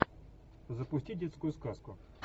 запусти детскую сказку